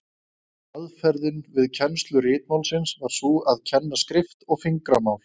Aðferðin við kennslu ritmálsins var sú að kenna skrift og fingramál.